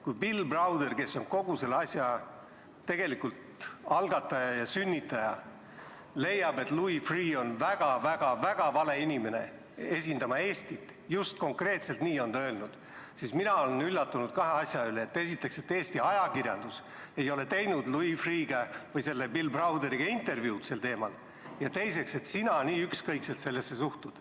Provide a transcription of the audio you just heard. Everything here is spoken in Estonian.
Kui Bill Browder, kes on tegelikult kogu selle asja algataja ja sünnitaja, leiab, et Louis Freeh on väga-väga-väga vale inimene Eestit esindama – just konkreetselt nii on ta öelnud –, siis mina olen üllatunud kahe asja üle: esiteks, et Eesti ajakirjandus ei ole teinud Bill Browderiga sel teemal intervjuud, ja teiseks, et sina sellesse nii ükskõikselt suhtud.